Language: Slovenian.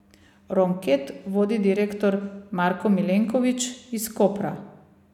Ronket vodi direktor Marko Milenkovič iz Kopra.